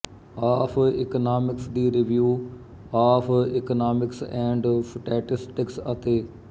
of economics ਦੀ review of economics and statistics ਅਤੇ